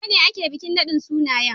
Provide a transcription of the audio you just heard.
Gobe ne ake bikin nadin sunayen.